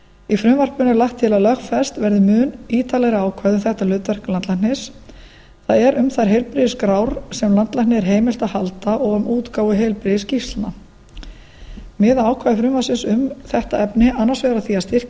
í frumvarpinu er lagt til að lögfest verði mun ítarlegra ákvæði um þetta hlutverk landlæknis það er um þær heilbrigðisskrár sem landlækni er heimilt að halda og um útgáfu heilbrigðisskýrslna miða ákvæði frumvarpsins um þetta efni annars vegar að því að styrkja heimildir landlæknis til